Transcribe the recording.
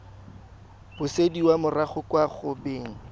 busediwa morago kwa go beng